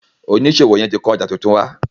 oniṣòwo yén tí kò ọjà títún wá.